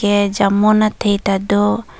eh jamun athe ta do.